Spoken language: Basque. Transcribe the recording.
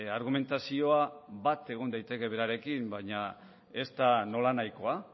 argumentazioa bat egon daiteke berarekin baina ez da nolanahikoa